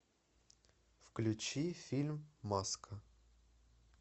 включи фильм маска